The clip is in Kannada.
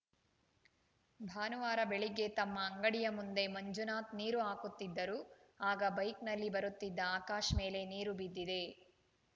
ಭಾನುವಾರ ಬೆಳಿಗ್ಗೆ ತಮ್ಮ ಅಂಗಡಿಯ ಮುಂದೆ ಮಂಜುನಾಥ್‌ ನೀರು ಹಾಕುತ್ತಿದ್ದರು ಆಗ ಬೈಕ್‌ನಲ್ಲಿ ಬರುತ್ತಿದ್ದ ಆಕಾಶ್‌ ಮೇಲೆ ನೀರು ಬಿದ್ದಿದೆ